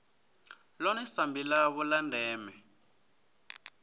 ḽone sambi ḽavho ḽa ndeme